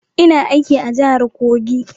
Ina aiki a jahar Kogi